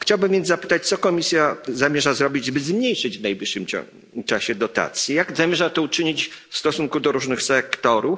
Chciałbym więc zapytać, co Komisja zamierza zrobić, by zmniejszyć w najbliższym czasie dotacje. Jak zamierza to uczynić w stosunku do różnych sektorów?